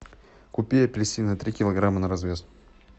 купи апельсины три килограмма на развес